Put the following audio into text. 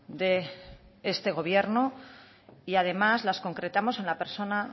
de este gobierno y además las concretamos en la persona